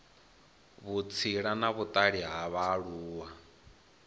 vhutsila na vhutali ha vhaaluwa